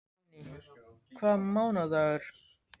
Guðný: Veistu hvaða mánaðardagur?